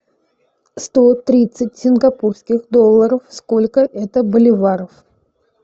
сто тридцать сингапурских долларов сколько это боливаров